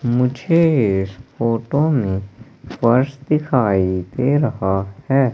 मुझे इस फोटो में पर्स दिखाई दे रहा है।